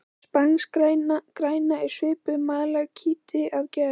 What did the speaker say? Spanskgræna er svipuð malakíti að gerð.